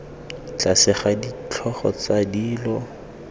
tlase ga ditlhogo tsa dilo